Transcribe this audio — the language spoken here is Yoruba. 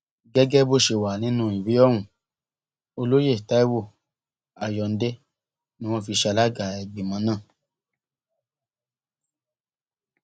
gẹgẹ bó ṣe wà nínú ìwé ohun olóye taiwo ayọǹde ni wọn fi ṣe alága ìgbìmọ náà